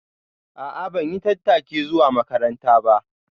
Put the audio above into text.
A'a ban yi tattaki zuwa makaranta ba